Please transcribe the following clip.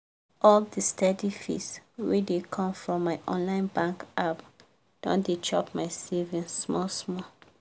all the steady fees wey dey come from my online bank app don dey chop my savings small small.